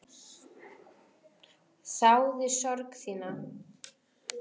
Þáði sorg þína.